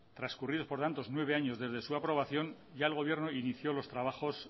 transcurridos por tanto nueve años desde su aprobación ya el gobierno inició los trabajos